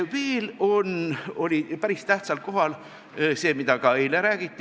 Veel oli päris tähtsal kohal see, mida ka eile räägiti.